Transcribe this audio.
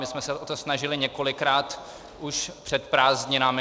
My jsme se o to snažili několikrát už před prázdninami.